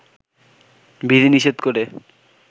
বিধি নিষেধ করে